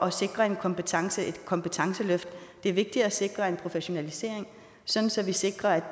at sikre et kompetenceløft kompetenceløft det er vigtigt at sikre en professionalisering så så vi sikrer at